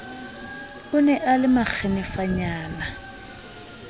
o ne a le makgenefanyana